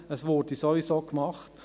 es würde sowieso gemacht.